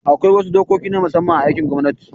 Akwai wasu dokoki na musamman a aikin gwamnati